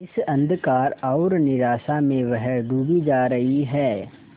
इस अंधकार और निराशा में वह डूबी जा रही है